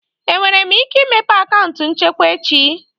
Enwere m ike imepe akaụntụ nchekwa echi?